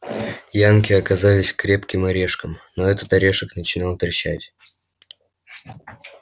янки оказались крепким орешком но этот орешек начинал трещать